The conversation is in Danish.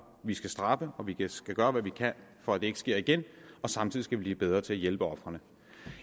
vi skal straffe og vi skal gøre hvad vi kan for at det ikke sker igen og samtidig skal vi blive bedre til at hjælpe ofrene